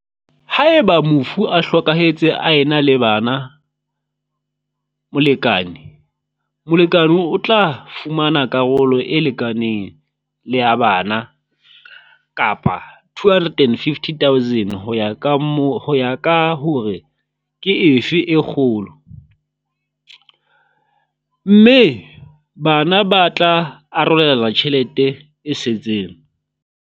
Haeba mofu a hlokahetse a na le bana molekane, molekane o tla fumana karolo e lekanang le ya bana kapa R250 000, ho ya ka mo ho ya ka hore ke efe e kgolo, mme bana ba tla arolelana tjhelete e setseng.